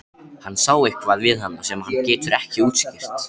Hann sá eitthvað við hana sem hann getur ekki útskýrt.